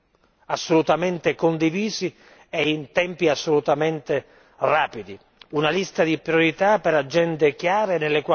Dovranno essere utilizzate al meglio, con progetti assolutamente condivisi e in tempi assolutamente rapidi.